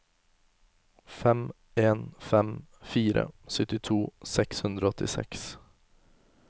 fem en fem fire syttito seks hundre og åttiseks